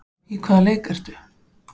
Í hvaða leik ertu?